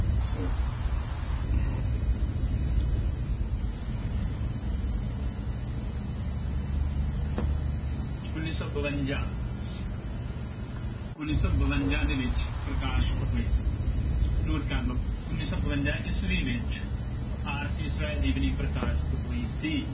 ਉਨੀ ਸੌ ਬਵੰਜਾ ਉੱਨੀ ਸੌ ਬਵੰਜਾ ਦੇ ਵਿੱਚ ਪ੍ਰਕਾਸ਼ਿਤ ਹੋਈ note ਕਰ ਲਓ ਉੱਨੀ ਸੌ ਬਵੰਜਾ ਈਸਵੀ ਵਿੱਚ ਆਰਸੀ ਸਵੈ ਜੀਵਨੀ ਪ੍ਰਕਾਸ਼ਿਤ ਹੋਈ ਸੀ।